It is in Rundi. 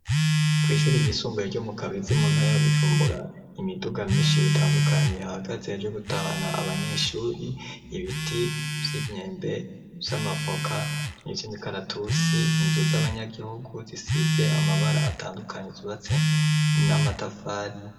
Kw'ishuri igisumbuye ryo mu kabizi muntarabjumbura imiduga myinshi ritandukanyi hagazeyajyo gutahna abanyeshuri ibiti vy'imyembe vy'amavoka 'ivyoimikaratusi inzu z'abanyagihugu zisize amabara atandukanyi zubatse n'amatafari.